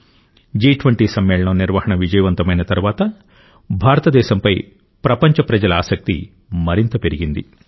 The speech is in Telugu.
జి20 సమ్మేళనం నిర్వహణ విజయవంతమైన తర్వాత భారతదేశంపై ప్రపంచ ప్రజల ఆసక్తి మరింత పెరిగింది